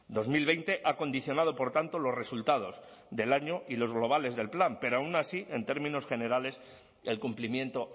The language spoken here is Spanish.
dos mil veinte ha condicionado por tanto los resultados del año y los globales del plan pero aun así en términos generales el cumplimiento